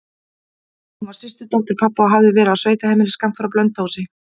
Hún var systurdóttir pabba og hafði verið á sveitaheimili skammt frá Blönduósi.